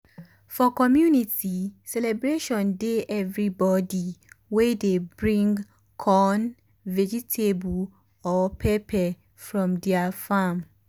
for community um celebration day every body dey bring corn vegetable or pepper from um their farm.